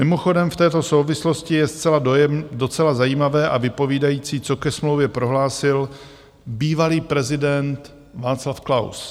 Mimochodem v této souvislosti je docela zajímavé a vypovídající, co ke smlouvě prohlásil bývalý prezident Václav Klaus.